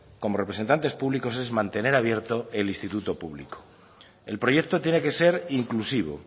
como representantes públicos es mantener abierto el instituto público el proyecto tiene que ser inclusivo